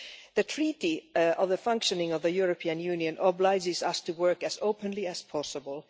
The Treaty on the Functioning of the European Union obliges us to work as openly as possible.